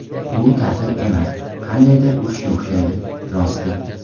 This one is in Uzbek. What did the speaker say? Bu ta’til emas, qandaydir urushga o‘xshaydi, rosti.